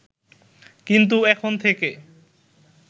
কিন্তু এখন থেকে